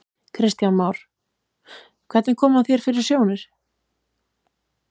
Kristján Már: Hvernig kom hann þér fyrir sjónir?